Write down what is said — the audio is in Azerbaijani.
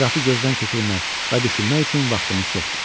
Ətrafı gözdən keçirmək və düşünmək üçün vaxtımız çoxdur.